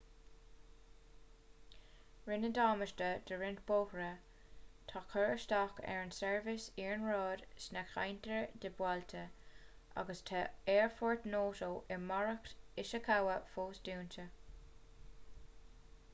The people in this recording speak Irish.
rinneadh damáiste do roinnt bóithre tá cur isteach ar an tseirbhís iarnróid sna ceantair atá buailte agus tá aerfort noto i maoracht ishikawa fós dúnta